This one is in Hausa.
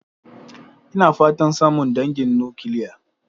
Ina fatan samun dangin nukiliya.